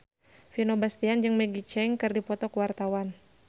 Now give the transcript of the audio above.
Vino Bastian jeung Maggie Cheung keur dipoto ku wartawan